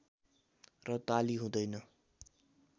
र ताली हुँदैन